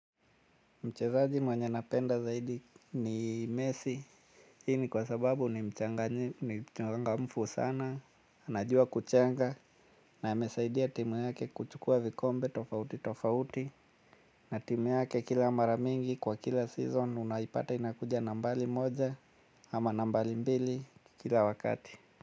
Mchezaji mwenye napenda zaidi ni mesi, hii ni kwa sababu ni mchanga mfu sana, anajua kuchenga, na amesaidia timu yake kuchukua vikombe tofauti tofauti, na timu yake kila mara mingi kwa kila season, unaipata inakuja nambari moja, ama nambari mbili kila wakati.